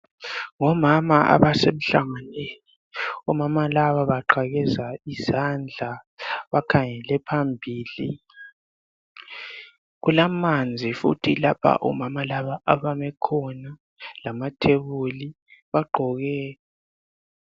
Omama ebasemhlanganweni, omama laba baqakheza izandla. Bakhangele phambili. Kula manzi futhi abame khona lamathebuli. Bagqoke kuhle.